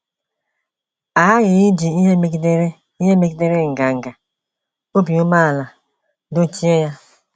A ghaghị iji ihe megidere ihe megidere nganga — obi umeala — dochie ya.